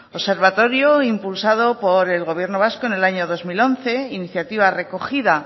observatorio impulsado por el gobierno vasco en el año dos mil once iniciativa recogida